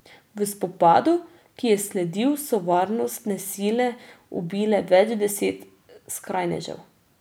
V spopadu, ki je sledil, so varnostne sile ubile več deset skrajnežev.